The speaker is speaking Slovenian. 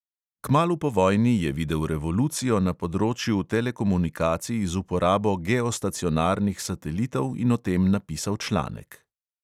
Kmalu po vojni je videl revolucijo na področju telekomunikacij z uporabo geostacionarnih satelitov in o tem napisal članek.